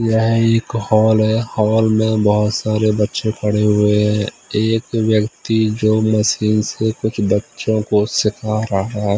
यह एक हॉल है हॉल में बहुत सारे बच्चे खड़े हुए हैं एक व्यक्ति जो मशीन से कुछ बच्चों को सिखा रहा है।